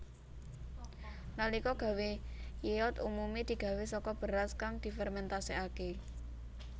Nalika gawé yeot umume digawé saka beras kang difermentasekake